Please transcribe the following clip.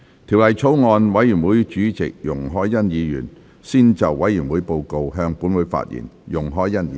法案委員會主席容海恩議員先就委員會報告，向本會發言。